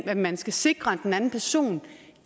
at man skal sikre at den anden person